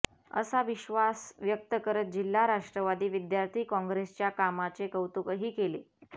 असा विश्वास व्यक्त करत जिल्हा राष्ट्रवादी विद्यार्थी काँग्रेसच्या कामाचे कौतुकही केले